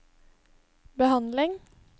behandling